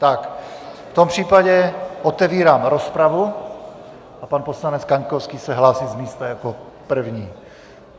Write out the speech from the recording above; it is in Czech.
Tak v tom případě otevírám rozpravu a pan poslanec Kaňkovský se hlásí z místa jako první.